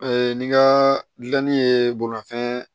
ni ka gilanni ye bolimafɛn